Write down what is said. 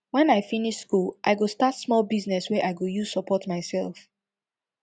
wen i finish school i go start small business wey i go use support mysef